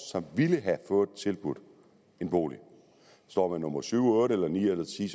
som ville have fået tilbudt en bolig står man nummer syv otte ni eller ti